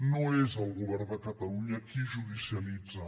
no és el govern de catalunya qui judicialitza